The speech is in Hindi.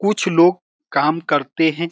कुछ लोग काम करते हैं।